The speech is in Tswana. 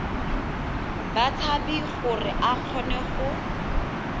batshabi gore a kgone go